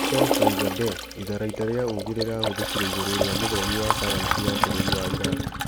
Mohsen Fakhrizadeh: itharaita rĩa ũgĩ rĩrahũthĩkire ĩgũrũ rĩa mũthomi wa sayansi wa bũrũri wa Iran